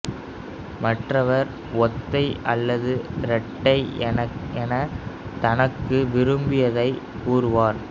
மற்றவர் ஒத்தை அல்லது ரெட்டை என தனக்கு விரும்பியதை கூறுவார்